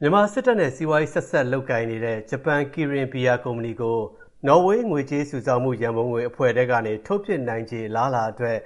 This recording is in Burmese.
မြန်မာစစ်တပ်နဲ့ စီးပွားရေးဆက်စပ်လုပ်ကိုင်နေတဲ့ ဂျပန် Kirin ဘီယာကုမ္ပဏီကို နော်ဝေး ငွေကြေးစုဆောင်းမှု ရန်ပုံငွေအဖွဲ့ထဲကနေ ထုတ်ပစ်နိုင်ခြေ အလားအလာအတွက်